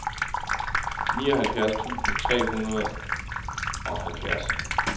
nioghalvfjerds tusind tre hundrede og halvfjerds